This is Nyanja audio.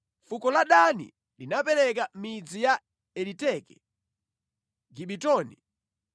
Fuko la Dani linapereka mizinda ya Eliteke, Gibetoni,